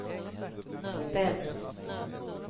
ställs